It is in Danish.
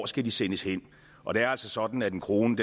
skal sendes hen og det er altså sådan at en krone